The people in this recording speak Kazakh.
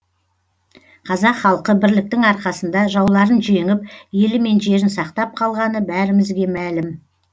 қазақ халқы бірліктің арқасында жауларын жеңіп елі мен жерін сақтап қалғаны бәрімізге мәлім